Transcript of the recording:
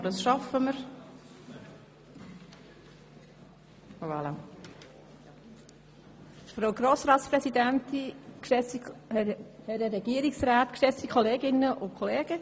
Sie wünscht, darüber eine freie Debatte anstelle einer reduzierten Debatte zu führen.